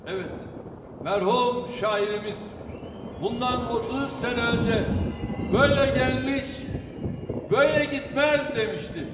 Bəli, mərhum şairimiz bundan 33 il öncə "Böylə gəlmiş, böylə getməz" demişdi.